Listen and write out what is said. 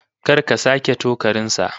Kar ka sake tokarin sa!